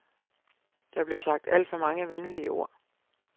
Der blev sagt alt for mange venlige ord.